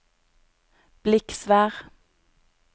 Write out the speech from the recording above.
Bliksvær